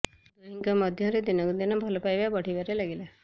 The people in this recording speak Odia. ଦୁହିଁଙ୍କ ମଧ୍ୟରେ ଦିନକୁ ଦିନ ଭଲ ପାଇବା ବଢିବାରେ ଲାଗିଲା